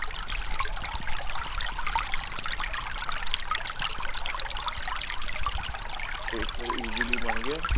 ਫ਼ੇਰ easily ਬਣ ਗਿਆ ਸੀ